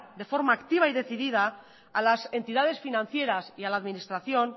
de forma activa y decidida a las entidades financieras y a las administración